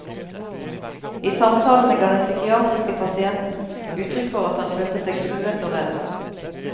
I samtalene ga den psykiatriske pasienten uttrykk for at han følte seg truet og redd.